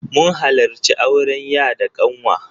Mun halarci auren ya da ƙanwa.